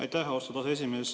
Aitäh, austatud aseesimees!